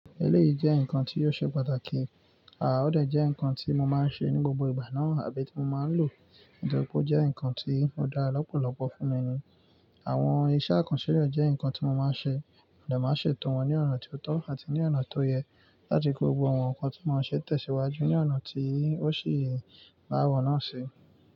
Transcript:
Èléyìí jẹ́ ǹkan tí ò ṣe pàtàkì, àá ó dè jẹ́ ǹkan tí mo máa ń ṣe ní gbogbo ìgbà náà àbí tí mo máa ń lò, nítorí pé ó jẹ́ ǹkan tí ó dára lọ́pọ̀lọ́pọ̀ fún mi ni. Àwọn iṣẹ́ àkànṣe rẹ̀ jẹ́ ǹkan tí mo máa ń ṣe, mo dà máa ń ṣètò wọn ní ọ̀nà tó tọ́ àti ní ọ̀nà tó yẹ láti kó gbogbo àwọn nǹkan tí wọ́n ṣẹ̀ tẹ̀síwájú ní ọ̀nà tí ó sì bá àwọn náà ṣe.